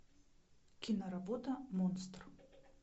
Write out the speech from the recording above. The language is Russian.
киноработа монстр